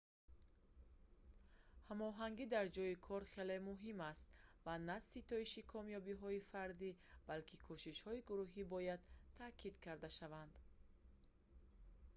ҳамоҳангӣ дар ҷойи кор хеле муҳим аст ва на ситоиши комёбиҳои фардӣ балки кӯшишҳои гурӯҳӣ бояд таъкид карда шаванд